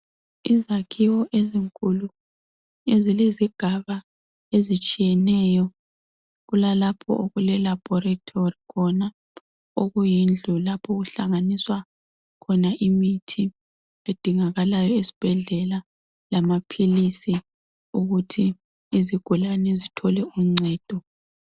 Izakhiwo ezinkulu ezilezigaba ezitshiyeneyo .Kulalapho okule laboratory khona okuyindlu lapho okuhlanganiswa khona imithi edingakalayo esibhedlela lamaphilisi okuthi izigulane zithole uncedo